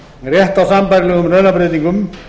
rétt á sambærilegum launabreytingum